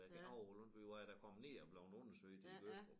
Jeg kan ikke hove det vi var da kommet ned og blevet undersøgt i Gødstrup